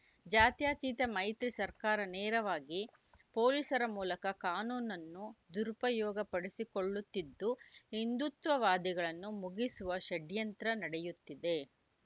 ಜಾತ್ಯತೀತ ಮೈತ್ರಿ ಸರ್ಕಾರ ನೇರವಾಗಿ ಪೊಲೀಸರ ಮೂಲಕ ಕಾನೂನನ್ನು ದುರುಪಯೋಗಪಡಿಸಿಕೊಳ್ಳುತ್ತಿದ್ದು ಹಿಂದುತ್ವವಾದಿಗಳನ್ನು ಮುಗಿಸುವ ಷಡ್ಯಂತ್ರ ನಡೆಯುತ್ತಿದೆ